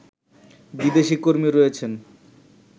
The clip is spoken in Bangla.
বিদেশি কর্মী রয়েছেন